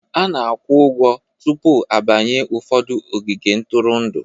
A na-akwụ ụgwọ tupu a banye ụfọdụ ogige ntụrụndụ.